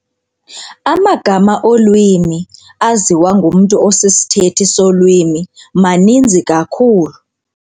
Amagama olwimi aziwa ngumntu osisithethi solwimi maninzi kakhulu.